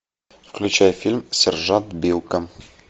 включай фильм сержант билко